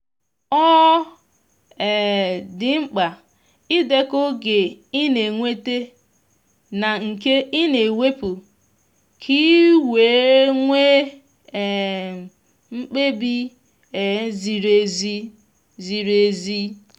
ọ um di mkpa idekọ oge i na enweta na nke ị na wepụ ka iwere nwe um mkpebi um ziri ezi. ziri ezi.